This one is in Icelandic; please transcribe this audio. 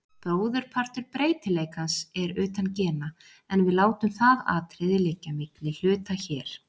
Bróðurpartur breytileikans er utan gena, en við látum það atriði liggja milli hluta hér.